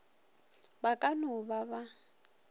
ba ka no ba ba